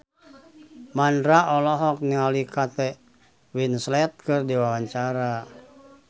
Mandra olohok ningali Kate Winslet keur diwawancara